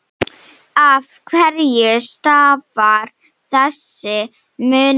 Af hverju stafar þessi munur?